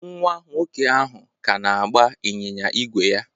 Nwa nwoke ahụ ka na-agba ịnyịnya ígwè ya